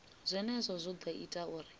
zwenezwo zwo ḓo ita uri